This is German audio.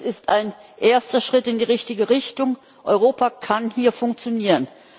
Es ist ein erster Schritt in die richtige Richtung, Europa kann hier funktionieren.